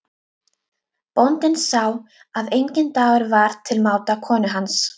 Bóndinn sá að enginn dagur var til máta konu hans.